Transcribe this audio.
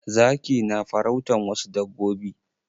Zaki na farautan wasu dabbobi.